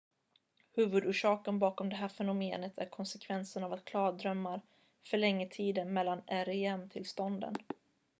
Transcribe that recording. huvudorsaken bakom det här fenomenet är konsekvensen av att klardrömmar förlänger tiden mellan rem-tillstånden